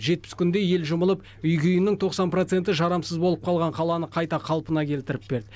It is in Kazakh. жетпіс күнде ел жұмылып үй күйінің тоқсан проценті жарамсыз болып қалған қаланы қайта қалпына келтіріп берді